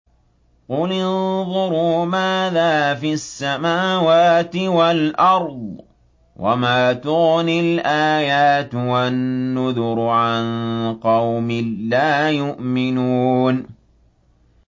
قُلِ انظُرُوا مَاذَا فِي السَّمَاوَاتِ وَالْأَرْضِ ۚ وَمَا تُغْنِي الْآيَاتُ وَالنُّذُرُ عَن قَوْمٍ لَّا يُؤْمِنُونَ